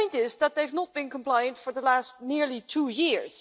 The point is that they have not been compliant for the past nearly two years.